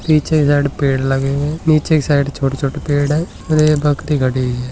नीचे के साइड पेड़ लगे हुए हैं नीचे के साइड छोटे-छोटे पेड़ हैं इधर एक बकरी खड़ी हुए हैं।